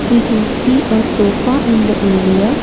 we can see a sofa in the area.